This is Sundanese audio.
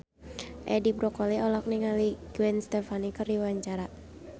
Edi Brokoli olohok ningali Gwen Stefani keur diwawancara